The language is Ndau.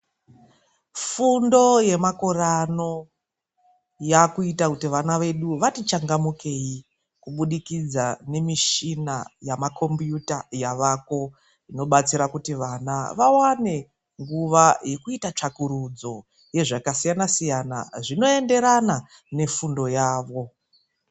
Fundo yemakore ano yakuita kuti vana vedu vati changamukei kubudikidza nemishina yavako inobatsira kuti vana vawane nguva yekuita tsvakurudzo rezvakasiyana siyana zvinoenderana nefundo yavo.